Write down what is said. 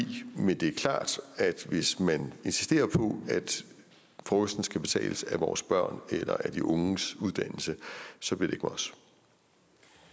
men det er klart at hvis man insisterer på at frokosten skal betales af vores børn eller af de unges uddannelse så bliver